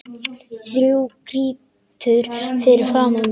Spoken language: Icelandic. Þú krýpur fyrir framan mig.